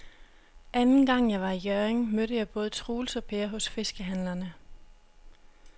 Anden gang jeg var i Hjørring, mødte jeg både Troels og Per hos fiskehandlerne.